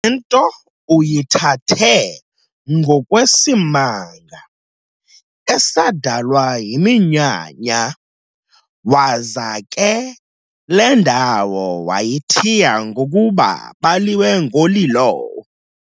Le nto uyithathe ngokwesimanga esadalwa yiminyanya, waza ke le ndawo wayithiya ngokuba, "Baliwe-Ngoliloe."